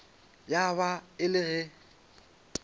ya ba e le ge